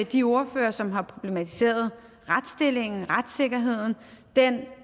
de ordførere som har problematiseret retsstillingen retssikkerheden den